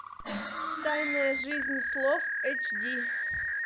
тайная жизнь слов эйч ди